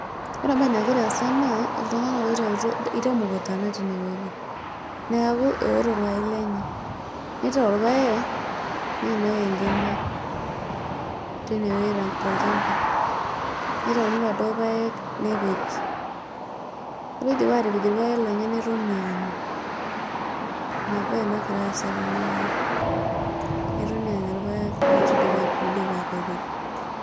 Ore embaye nagira aasa naa iltunganak ooitautuo ,ketii emukunta natii inewueji neeku eewoto irpaek lenye neitayu irpaek ompaka enkima tenewueji tolchamba, neitauni iladuo paek nepeji ore eidipa atapej irpaek lenye netoni aanya ina baye nagira aasa tenewueji netoni aanya irpaek oidipa aatapej.